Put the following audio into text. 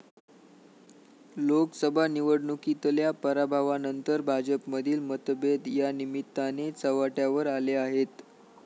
लोकसभा निवडणुकीतल्या पराभवानंतर भाजपमधील मतभेद यानिमित्ताने चव्हाट्यावर आले आहेत.